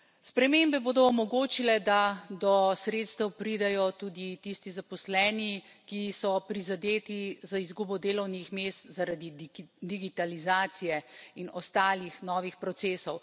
Spremembe bodo omogočile, da do sredstev pridejo tudi tisti zaposleni, ki so prizadeti za izgubo delovnih mest zaradi digitalizacije in ostalih novih procesov.